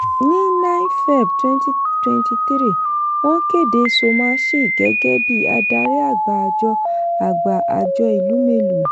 ní 9 feb 2023 wọ́n kéde somachi gẹ́gẹ́ bí adarí àgbà àjọ àgbà àjọ elumelu.